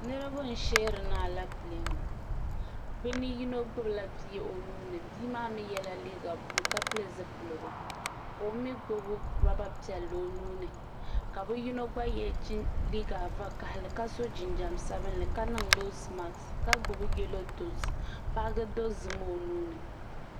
niriba n shɛrina a lɛɛpilɛɛni bi ni yino gbabila bi o nuuni bimaa mi yɛla liga bulo ka pɛli zupɛligu ka o mi gbabi ruba piɛli o nuuni ka bi yino gba yɛ chichini liga vakahili ka so jijam sabinli ka niŋ nosi makisi ka gbabi o yɛlodozim baagi dozim o nuuni